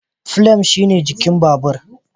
"Frame" shine jikin babur.